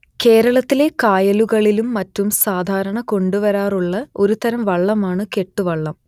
കേരളത്തിലെ കായലുകളിലും മറ്റും സാധാരണ കണ്ടുവരാറുള്ള ഒരു തരം വള്ളമാണ് കെട്ടുവള്ളം